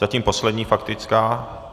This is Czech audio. Zatím poslední faktická.